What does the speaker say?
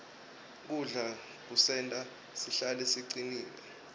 kudla kusenta sihlale sicinile